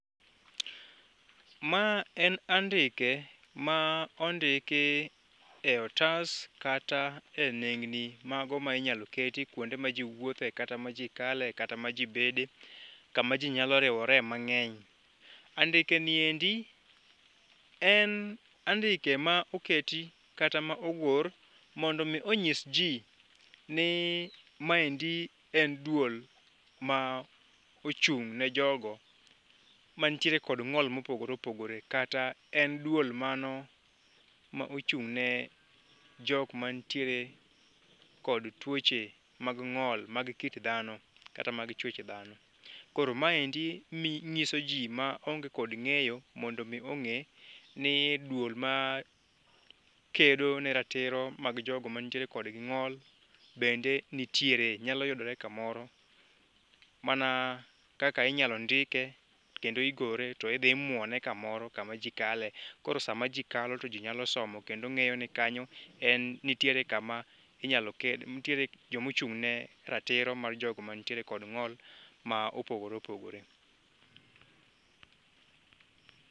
Ma en andike ma ondiki e otas kata e nengni mago ma inyalom keti kuonde maji wuothje kata majikale kata majibede kamaji nyalo riwore mang'eny. Andikeni eri en andike andike ma oketi kata ma owur mondo mi onyisji ni maendi en duol maochung' ne jogo man tiere kod ng'ol ma opogore opogore kata en duol mano m,ochung' ne ok matiere kod tuoche mag ng'ol mag kit dhano kata mag chwech dhano. Koro maendi nyisoji ma onge kod ng'eyo mondo mi ong'e ni duol makedo ne ratiro mag jogo man tiere kod ng'ol bende nitiere nyalo yudore kamoro mana kaka inyalondike kendo igore to idhi imuone kamor kama ji kae koro sama ji kalo to ji nyalo somo kendo ng'eyo ni kanyo nitiere kama inyalo ked nitiere joma ochung' ne ratiro mar jogo mantiere kod ng'ol ma opogore opopgore.